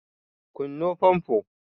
kunno fanfo!